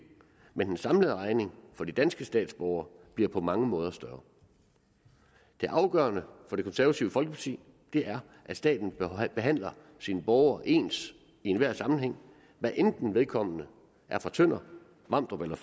men den samlede regning for de danske statsborgere bliver på mange måder større det afgørende for det konservative folkeparti er at staten behandler sine borgere ens i enhver sammenhæng hvad enten vedkommende er fra tønder vamdrup eller